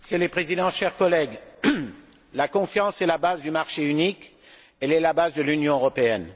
Monsieur le Président, chers collègues, la confiance est la base du marché unique, elle est la base de l'Union européenne.